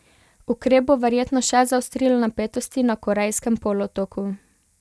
Ukrep bo verjetno še zaostril napetosti na Korejskem polotoku.